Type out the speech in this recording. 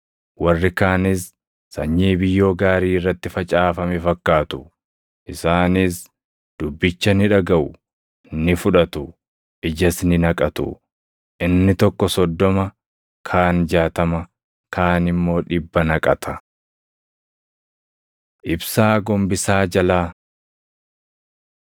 Warri kaanis sanyii biyyoo gaarii irratti facaafame fakkaatu; isaanis dubbicha ni dhagaʼu; ni fudhatu; ijas ni naqatu; inni tokko soddoma, kaan jaatama, kaan immoo dhibba naqata.” Ibsaa Gombisaa Jalaa